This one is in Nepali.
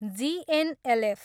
G N L F.